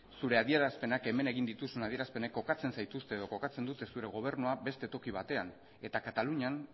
zure adierazpenak hemen egin dituzun adierazpenek kokatzen zaituzte edo kokatzen dute zure gobernua beste toki batean eta katalunian